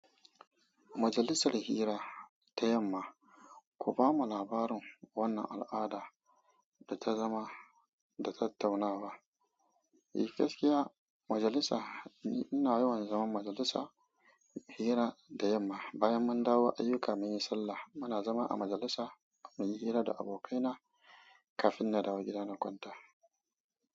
Majalisar hira ta yamma, ku bamu labarin wannan al'ada da ta zama da tattaunawa. Eh gaskiya. Majalisa ina yawan zama majalisa hira da yamma bayan mun dawo ayyuka muyi sallah. Muna zama a majalisa muyi hira da abokaina kafin na dawo gida na kwanta.